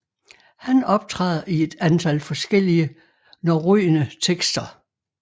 Han optræder i et antal forskellige norrøne tekster